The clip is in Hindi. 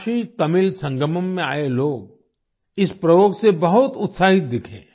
काशीतमिल संगमम में आए लोग इस प्रयोग से बहुत उत्साहित दिखे